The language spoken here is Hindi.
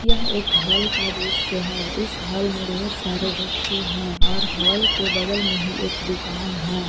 यह एक हॉल का दृश्य है इस हाल में ढेर सारे व्यक्ति हैं और हाल के बगल में ही एक दुकान है।